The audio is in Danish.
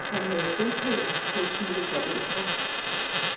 Han havde bopæl hos sine forældre.